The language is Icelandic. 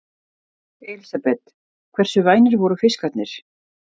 Elísabet: Hversu vænir voru fiskarnir?